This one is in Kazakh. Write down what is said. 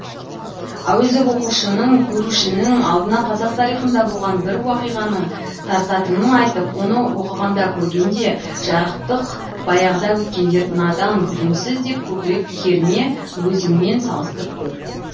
әуезов оқушының көрушінің алдына қазақ тарихында болған бір уақиғаны тартатынын айтып оны оқығанда көргенде жарықтық баяғыда өткендер надан білімсіз деп көкірек керме өзіңмен салыстырып көр